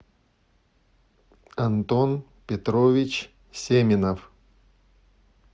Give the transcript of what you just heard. антон петрович семенов